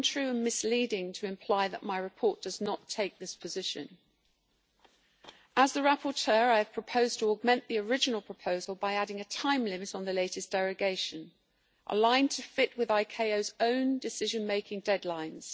is untrue and misleading to imply that my report does not take this position. As the rapporteur, I have proposed to augment the original proposal by adding a time limit on the latest derogation, aligned to fit with ICAO's own decision-making deadlines.